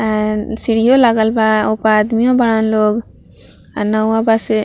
N सीढ़ियों लागल बा ऊपर आदमियों बाड़न लोग आ नउआ बा से --